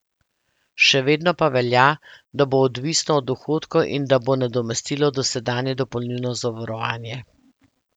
Še vedno pa velja, da bo odvisno od dohodkov in da bo nadomestilo dosedanje dopolnilno zavarovanje.